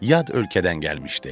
Yad ölkədən gəlmişdi.